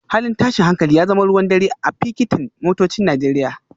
Halin tashin hankali ya zama ruwan dare a fakitin motocin Najeriya